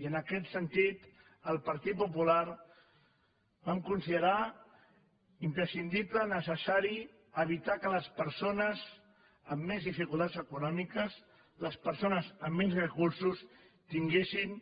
i en aquest sentit el partit popular vam considerar imprescindible necessari evitar que les persones amb més dificultats econòmiques les persones amb menys recursos tinguessin